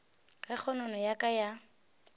ge kgonono ya ka ya